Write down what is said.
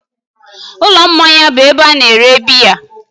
Ụlọ mmanya bụ ebe a na-ere biya